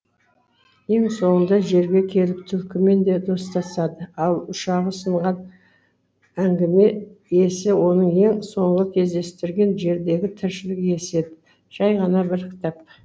ең соңында жерге келіп түлкімен достасады ал ұшағы сынған әңгіме иесі оның ең соңғы кездестірген жердегі тіршілік иесі еді жай ғана бір кітап